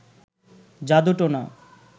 জাদু টোনা